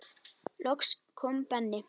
Loks kom Benni.